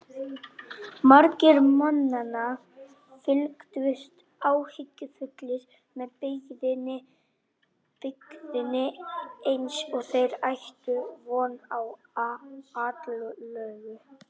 Margir mannanna fylgdust áhyggjufullir með byggðinni eins og þeir ættu von á atlögu.